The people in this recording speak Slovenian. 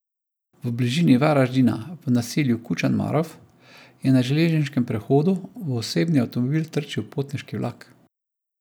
V bližini Varaždina, v naselju Kučan Marof, je na železniškem prehodu v osebni avtomobil trčil potniški vlak.